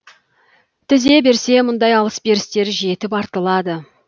тізе берсе мұндай алыс берістер жетіп артылады